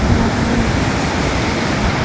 বড় বড় গাছ দেখা যাচ্ছে।